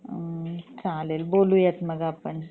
उम्म चालेल मग बोलुयात आपण